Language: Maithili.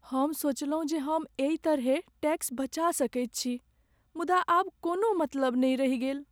हम सोचलहुँ जे हम एहि तरहेँ टैक्स बचा सकैत छी, मुदा आब कोनो मतलब नहि रहि गेल।